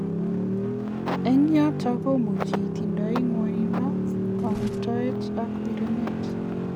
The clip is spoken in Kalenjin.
Eng yotok komuchi itindie mwanindo, kangutaet ak wirenet.